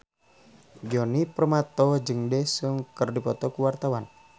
Djoni Permato jeung Daesung keur dipoto ku wartawan